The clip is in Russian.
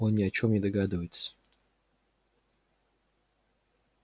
он ни о чем не догадывается